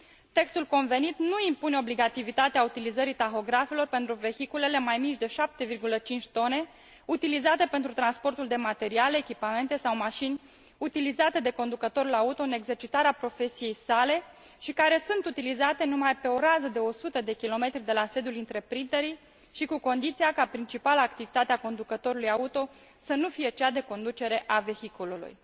Textul convenit nu impune obligativitatea utilizării tahografelor pentru vehiculele mai mici de 7,5 t, utilizate pentru transportul de materiale, echipamente sau mașini utilizate de conducătorul auto în exercitarea profesiei sale și care sunt utilizate numai pe o rază de 100 km de la sediul întreprinderii și cu condiția ca principala activitate a conducătorului auto să nu fie cea de conducere a vehiculului.